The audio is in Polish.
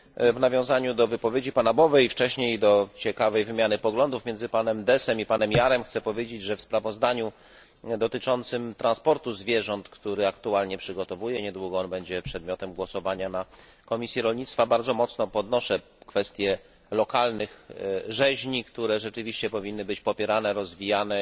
W nawiązaniu do wypowiedzi pana Bové i wcześniej do ciekawej wymiany poglądów między panem Deßem i panem Jahrem chcę powiedzieć, że w sprawozdaniu dotyczącym transportu zwierząt, które aktualnie przygotowuję niedługo będzie ono przedmiotem głosowania w Komisji Rolnictwa bardzo mocno podnoszę kwestię lokalnych rzeźni, które rzeczywiście powinny być popierane, rozwijane.